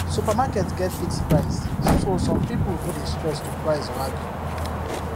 supermarket get fixed price so some people no dey stress to price or argue